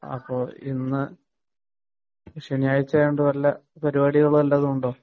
അപ്പൊ ഇന്ന് ശനിയാഴ്ച ആയതുകൊണ്ട് വല്ല പരിപാടികളും ഉണ്ടോ